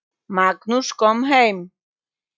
Magnús kom heim.